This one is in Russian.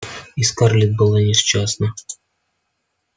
и скарлетт была несчастна